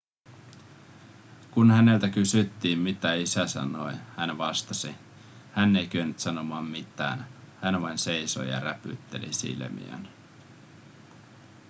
kun häneltä kysyttiin mitä isä sanoi hän vastasi hän ei kyennyt sanomaan mitään hän vain seisoi ja räpytteli silmiään